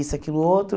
isso, aquilo, outro.